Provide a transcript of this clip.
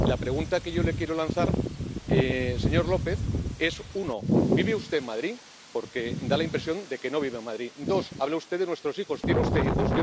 La pregunta que yo le quiero lanzar, señor López, es uno, ¿vive usted en Madrid?, porque da la impresión de que no viva en Madrid dos, habla usted de nuestros hijos, ¿tiene usted hijos?